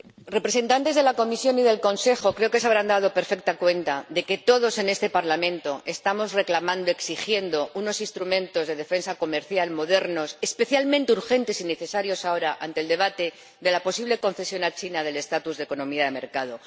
Señor Presidente, representantes de la Comisión y del Consejo, creo que se habrán dado perfecta cuenta de que todos en este Parlamento estamos reclamando, exigiendo, unos instrumentos de defensa comercial modernos, especialmente urgentes y necesarios ahora, ante el debate de la posible concesión a China del estatus de economía de mercado.